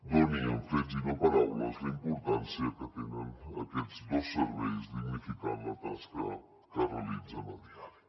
doni amb fets i no paraules la importància que tenen aquests dos serveis dignificant la tasca que realitzen a diari